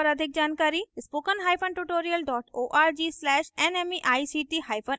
इस mission पर अधिक जानकारी spoken hyphen tutorial dot org slash nmeict hyphen intro पर उपलब्ध है